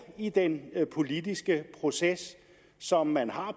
i den politiske proces som man har